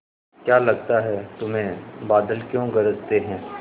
क्या लगता है तुम्हें बादल क्यों गरजते हैं